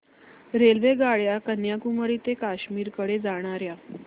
रेल्वेगाड्या कन्याकुमारी ते काश्मीर कडे जाणाऱ्या